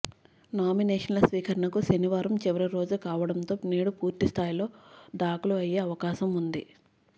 నామినేషన్ల స్వీకరణకు శనివారం చివరి రోజు కావడంతో నేడు పూర్తిస్థాయిలో దాఖలు అయ్యే అవకాశం ఉంది